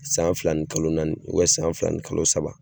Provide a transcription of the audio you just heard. San fila ni kalo naani ubiyɛn san fila ni kalo saba